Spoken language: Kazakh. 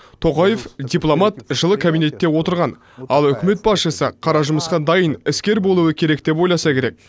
тоқаев дипломат жылы кабинетте отырған ал үкімет басшысы қара жұмысқа дайын іскер болуы керек деп ойласа керек